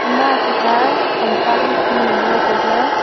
ema athe kha tamta ham than nganle taile.